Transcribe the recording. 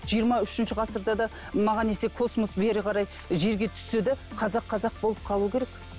жиырма үшінші ғасырда да маған десе космос бері қарай жерге түссе де қазақ қазақ болып қалу керек